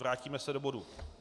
Vrátíme se do bodu